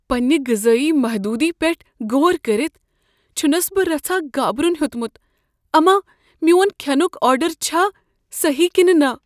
پنٛنہ غذٲیی محدوٗدی پیٹھ غور کٔرتھ، چھنس بہٕ رژھاہ گابرن ہیوٚتمت اما میٛون کھینک آرڈر چھا صحیٖح کنہٕ نہ۔